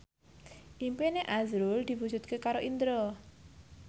impine azrul diwujudke karo Indro